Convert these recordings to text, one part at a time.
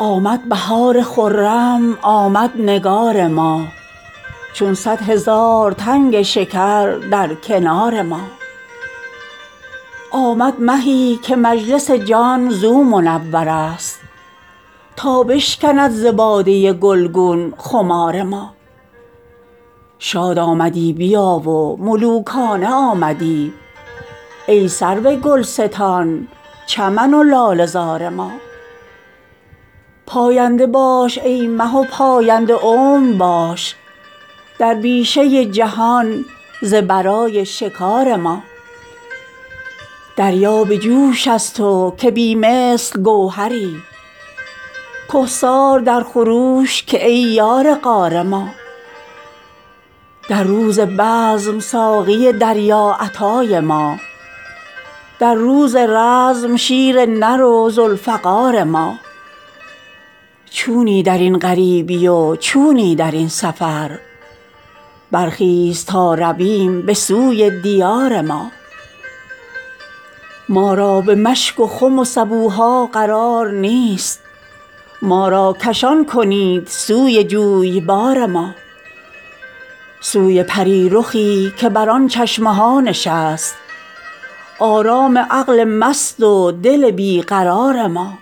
آمد بهار خرم آمد نگار ما چون صد هزار تنگ شکر در کنار ما آمد مهی که مجلس جان زو منورست تا بشکند ز باده گلگون خمار ما شاد آمدی بیا و ملوکانه آمدی ای سرو گلستان چمن و لاله زار ما پاینده باش ای مه و پاینده عمر باش در بیشه جهان ز برای شکار ما دریا به جوش از تو که بی مثل گوهری کهسار در خروش که ای یار غار ما در روز بزم ساقی دریاعطای ما در روز رزم شیر نر و ذوالفقار ما چونی در این غریبی و چونی در این سفر برخیز تا رویم به سوی دیار ما ما را به مشک و خم و سبوها قرار نیست ما را کشان کنید سوی جویبار ما سوی پری رخی که بر آن چشم ها نشست آرام عقل مست و دل بی قرار ما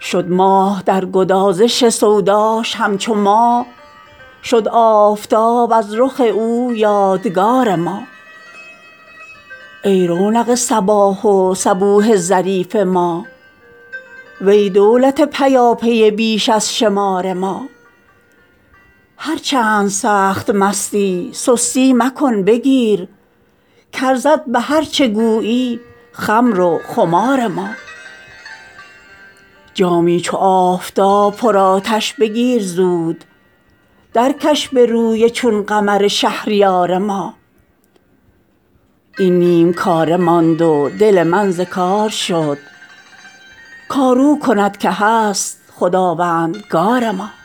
شد ماه در گدازش سوداش همچو ما شد آفتاب از رخ او یادگار ما ای رونق صباح و صبوح ظریف ما وی دولت پیاپی بیش از شمار ما هر چند سخت مستی سستی مکن بگیر کارزد به هر چه گویی خمر و خمار ما جامی چو آفتاب پرآتش بگیر زود درکش به روی چون قمر شهریار ما این نیم کاره ماند و دل من ز کار شد کار او کند که هست خداوندگار ما